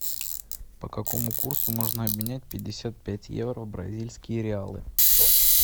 по какому курсу можно обменять пятьдесят пять евро в бразильские реалы